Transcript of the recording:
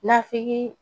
Nafiki